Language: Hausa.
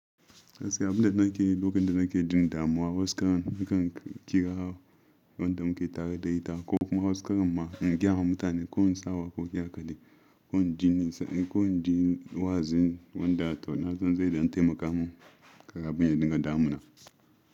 Gaskiya abunda nake yi lokacin da nake jin damuwa, wasu karan nakan kira wanda muke tare da ita ko kuma wasu karan ma in gaya wa mutane ko in sa waƙoƙi haka dai ko in ji nisa, ko in ji wa'azi wanda to na san zai ɗan taimaka mun karamin ya dinga damuna.